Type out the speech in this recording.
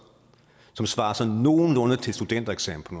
som svarer sådan nogenlunde til studentereksamen på